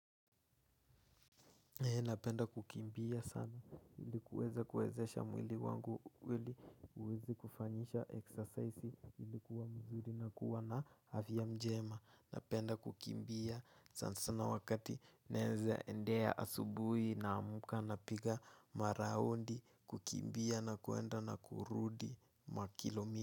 Napenda kukimbia sana ili kuweza kuwezesha mwili wangu ili uwezi kufanyisha exercise ili kuwa mzuri na kuwa na afya mjema. Napenda kukimbia sana sana wakati naeza endea asubuhi naamuka napiga maraundi kukimbia na kuenda na kurudi makilomi.